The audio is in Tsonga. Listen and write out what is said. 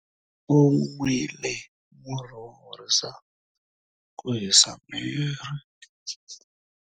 U nwile murhi wo horisa ku hisa miri.